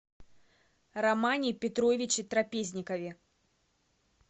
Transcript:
романе петровиче трапезникове